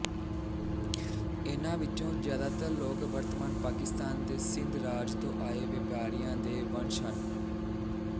ਇਹਨਾਂ ਵਿੱਚੋਂ ਜਿਆਦਾਤਰ ਲੋਕ ਵਰਤਮਾਨ ਪਾਕਿਸਤਾਨ ਦੇ ਸਿੰਧ ਰਾਜ ਤੋਂ ਆਏ ਵਿਆਪਾਰੀਆਂ ਦੇ ਵੰਸ਼ਜ ਹਨ